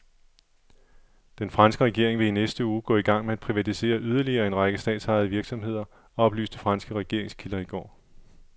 Den franske regering vil i næste uge gå i gang med at privatisere yderligere en række statsejede virksomheder, oplyste franske regeringskilder i går.